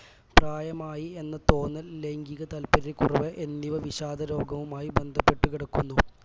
പ്രായമായി എന്ന തോന്നൽ ലൈംഗീക താൽപര്യക്കുറവ് എന്നിവ വിഷാദരോഗവുമായി ബന്ധപ്പെട്ടു കിടക്കുന്നു